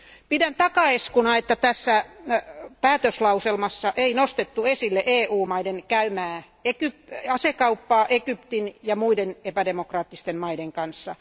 Pidän takaiskuna, että tässä päätöslauselmassa ei nostettu esille EU maiden käymää asekauppaa Egyptin ja muiden epädemokraattisten maiden kanssa.